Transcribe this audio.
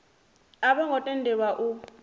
a vho ngo tendelwa u